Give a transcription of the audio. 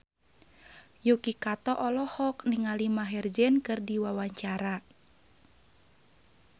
Yuki Kato olohok ningali Maher Zein keur diwawancara